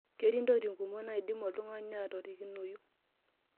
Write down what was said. ketii intokiting' kumok naidim oltung'ani atorikinoyu